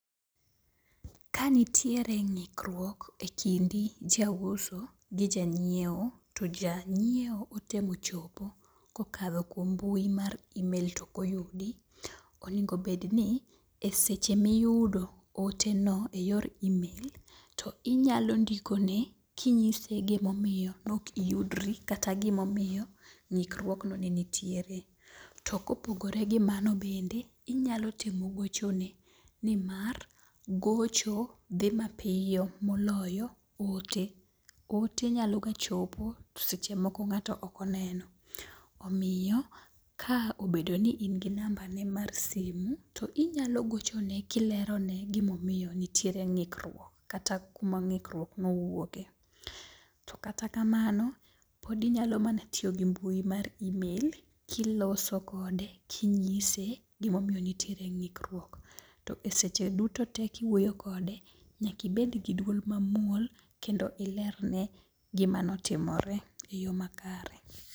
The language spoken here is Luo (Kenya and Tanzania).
Ka nitiere ng'ikruok e kindi ja uso gi ja nyiewo, to janyiewo otemo chopo kokalo kuom mbui mar imel tokoyudi. Onego bedni e seche miyudo ote no e yor imel, to inyalo ndiko ne kinyise gimomiyo nok iyudri kata gimomiyo ng'ik ruogno ne nitiere. To kopogore gi mano bende, inyalo temo gochone nimar gocho dhi mapiyo moloyo ote. Ote nyalo ga chopo to seche moko ng'ato okoneno. Omiyo ka obedo ni in gi namba ne mar simu to inyalo gochone kilerone gimomiyo nitiere ng'ikruok, kata kuma ng'ikruok nowuoke. To kata kamano, pod inyalo mana tiyo gi mbui mar imel, kiloso kode kinyise gimomiyo nitiere ng'ikruok. To e seche duto te kiwuoyo kode, nyakibed gi duol mamuol kendo ilerne gima notimore e yo makare.